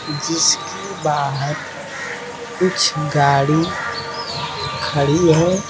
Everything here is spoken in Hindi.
जिसके बाहर कुछ गाड़ी ख़ड़ी है।